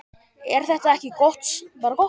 Er þetta ekki bara gott?